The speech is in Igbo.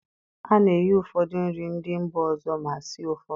A na-eghe ụfọdụ nri ndị mba ọzọ ma sie ụfọdụ